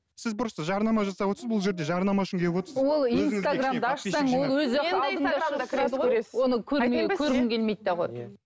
сіз просто жарнама жасап отырсыз бұл жерде жарнама үшін келіп отырсыз